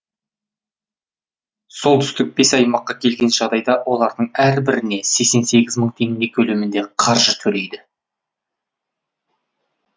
солтүстік бес аймаққа келген жағдайда олардың әрбіріне сексен сегіз мың теңге көлемінде қаржы төлейді